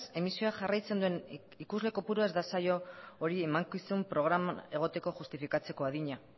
emisioa jarraitzen duen ikusle kopurua ez da saio hori emankizun programan egoteko justifikatzeko adina